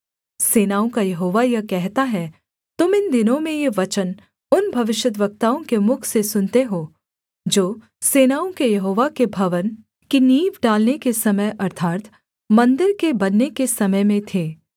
सेनाओं का यहोवा यह कहता है तुम इन दिनों में ये वचन उन भविष्यद्वक्ताओं के मुख से सुनते हो जो सेनाओं के यहोवा के भवन की नींव डालने के समय अर्थात् मन्दिर के बनने के समय में थे